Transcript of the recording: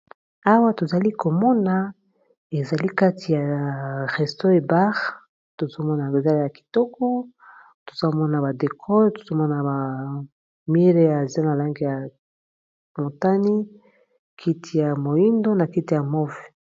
Awa tozali komona ezali kati ya resto- bar tozomona eza ya kitoko ,tozomona ba décor, tozomona ba mur ya se na langi ya motani kiti ya moyindo, na kiti ya move